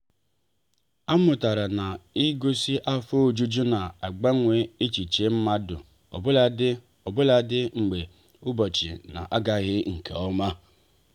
a mụtara na-igosi afọ ojuju na agbanwe echiche mmadụ ọbuladi ọbuladi mgbe ụbọchị na-agaghị nke ọma.